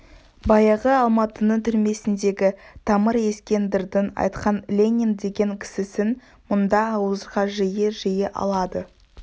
баяғы алматының түрмесіндегі тамыр ескендірдің айтқан ленин деген кісісін мұнда ауызға жиі-жиі алады